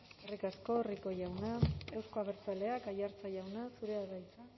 eskerrik asko rico jauna euzko abertzaleak aiartza jauna zurea da hitza